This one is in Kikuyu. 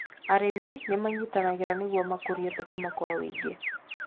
Arĩmi nĩ manyitanagĩra nĩguo makũrie thũkũma kwa ũingĩ.